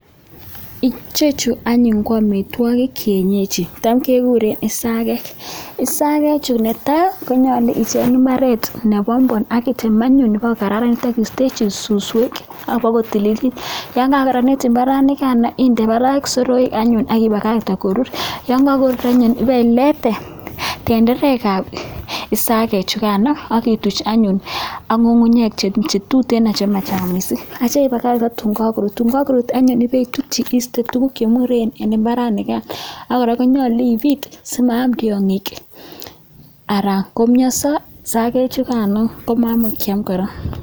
Ichechu ko ingwekab [kienyeji tam kekure isakek, isakechu ne tai, konyolu icheng imbaaret nebombom akitem anyun pokokararanit akiistechi suswek apokotililit, yon kakokararanit imbaaranikan inde barak soroek aki pakakten koruur, ye kakoruur anyun ipeleite tenderekab isakek chukano akituch anyun ak ngungunyek che tuteen che machang mising. Atyo ipakach akoi tuun kakoruut, ko tuun kakoruut anyun ipeputii iiste tuguk che muren eng imbaranikan ak kora nyolu ipiit simaam tiongik anan komianso isakek chukan komaimuch kiam kora.